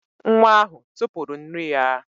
Nwa ahụ tụpụrụ nri ya